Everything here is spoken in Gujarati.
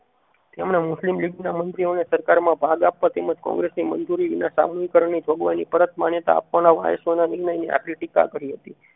તેમણે મુસ્લિમ લીગ ના મંત્રીઓને સરકારમાં ભાગ આપવા થી કોગ્રેસ ની મંજૂરી વિના સાહનીકરણ ની જોગવાઈ ની પરત માન્યતા આપવાના વાઇસરોય ની આખરી ટીકા કરી હતી